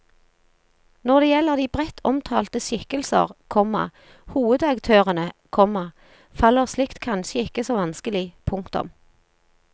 Når det gjelder de bredt omtalte skikkelser, komma hovedaktørene, komma faller slikt kanskje ikke så vanskelig. punktum